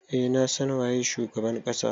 Eh na san waye shugaban kasa.